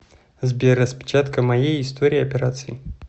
сбер распечатка моей истории операций